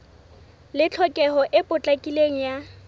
le tlhokeho e potlakileng ya